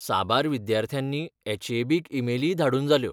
साबार विद्यार्थ्यांनी एच.ए.बी. क ईमेलीय धाडून जाल्यो.